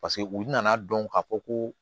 paseke u nana dɔn k'a fɔ ko